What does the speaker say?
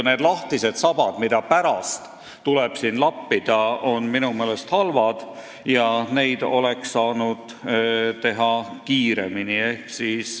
Need lahtised augud, mida on tulnud pärast lappida, on minu meelest halvad ja need oleks saanud otsustada kiiremini.